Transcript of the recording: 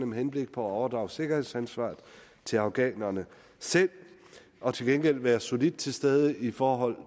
med henblik på at overdrage sikkerhedsansvaret til afghanerne selv og til gengæld være solidt til stede i forhold